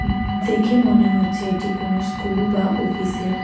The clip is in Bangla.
দেখে মনে হচ্ছে এটি কোনো স্কুল বা ওফিস -এর--